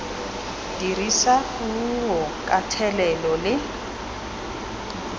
dirisa puo ka thelelo le